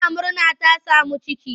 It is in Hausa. Tana murna ta sami ciki.